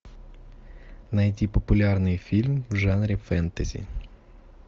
найти популярный фильм в жанре фэнтези